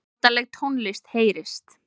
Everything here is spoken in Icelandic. Notaleg tónlist heyrist.